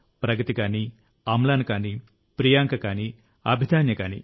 ప్రగతి కానీ అమ్లాన్ కానీ ప్రియాంక కానీ అభిదాన్య కానీ